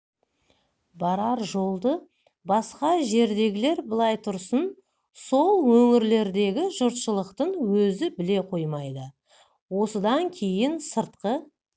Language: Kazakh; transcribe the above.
барар жолды басқа жердегілер былай тұрсын сол өңірлердегі жұртшылықтың өзі біле қоймайды осыдан кейін сыртқы